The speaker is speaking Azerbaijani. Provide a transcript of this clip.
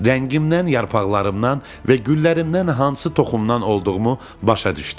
Rəngimdən, yarpaqlarımdan və güllərimdən hansı toxumdan olduğumu başa düşdü.